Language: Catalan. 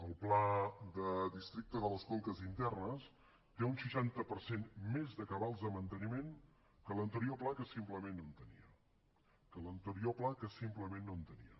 el pla de districte de les conques internes té un seixanta per cent més de cabals de manteniment que l’anterior pla que simplement no en tenia que l’anterior pla que simplement no en tenia